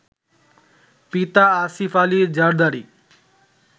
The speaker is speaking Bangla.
পিতা আসিফ আলি জারদারি